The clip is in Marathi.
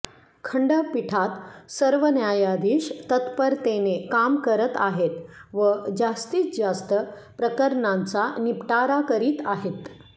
खंडपीठात सर्व न्यायाधिश तत्परतेने काम करत आहेत व जास्तीत जास्त प्रकरणांचा निपटारा करीत आहेत